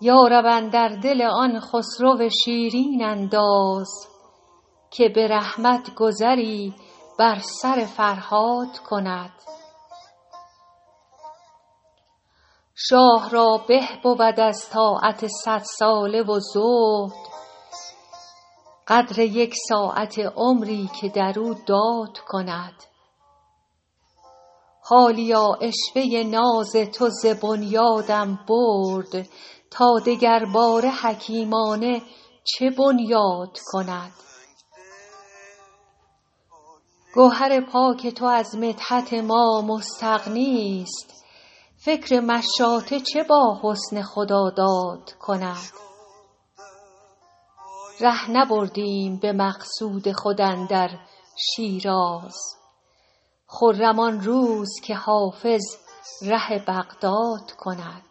یا رب اندر دل آن خسرو شیرین انداز که به رحمت گذری بر سر فرهاد کند شاه را به بود از طاعت صدساله و زهد قدر یک ساعته عمری که در او داد کند حالیا عشوه ناز تو ز بنیادم برد تا دگرباره حکیمانه چه بنیاد کند گوهر پاک تو از مدحت ما مستغنیست فکر مشاطه چه با حسن خداداد کند ره نبردیم به مقصود خود اندر شیراز خرم آن روز که حافظ ره بغداد کند